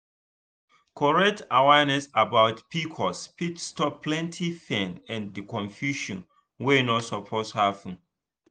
correct awareness about pcos fit stop plenty pain and confusion wey no suppose happen.